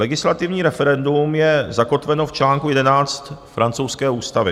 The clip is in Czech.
Legislativní referendum je zakotveno v čl. 11 francouzské ústavy.